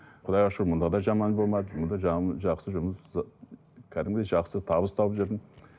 құдайға шүкір мында да жаман болмады мына жақсы жұмыс ы кәдімгідей жақсы табыс тауып жүрдім